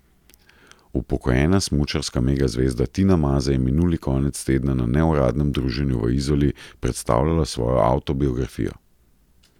Upokojena smučarska megazvezda Tina Maze je minuli konec tedna na neuradnem druženju v Izoli predstavljala svojo avtobiografijo.